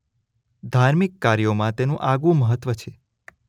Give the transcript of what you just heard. ધાર્મિક કાર્યોમાં તેનું આગવું મહત્વ છે.